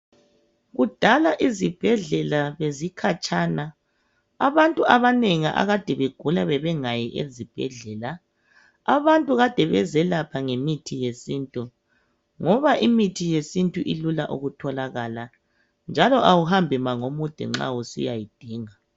Kudala izibhedlela bezikhatshana , abantu abanengi akade begula bebengayi esibhedlela. Abantu Kade bezelapha ngemithi yesintu ngoba imithi yesintu ilula ukutholakala njalo awuhambi mango mude nxa usiyayidinga.